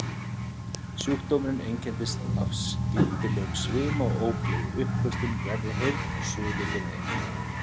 Sjúkdómurinn einkennist af skyndilegum svima og ógleði, uppköstum, verri heyrn og suði fyrir eyra.